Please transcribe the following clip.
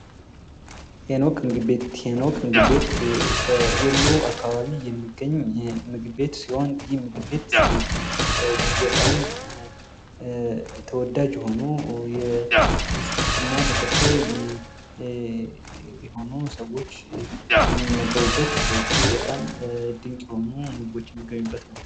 ሄኖክ ምግብ ቤት ። ሄኖክ ምግብ ቤት በወሎ አካባቢ የሚገኝ የምግብ ቤት ሲሆን ይህ ምግብ ቤት እጅግ በጣም ተወዳጅ የሆኑ የክርስትና ተከታይ የሆኑ ሰዎች የሚመገቡበት እጅግ በጣም ድንቅ የሆኑ ምግቦች የሚገኙበት ነው ።